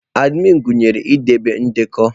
Adminụ gụnyere idebe ndekọ.